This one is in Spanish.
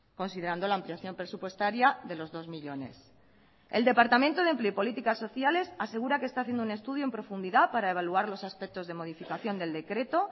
considerando la ampliación presupuestaria de los dos millónes el departamento de empleo y políticas sociales asegura que está haciendo un estudio en profundidad para evaluar los aspectos de modificación del decreto